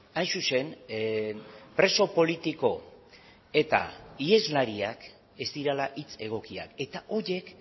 hain zuzen preso politiko eta iheslariak ez direla hitz egokiak eta horiek